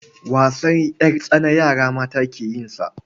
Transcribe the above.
Wasan ƴartsana yara mata ke yin sa.